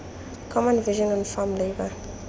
common vision on farm labour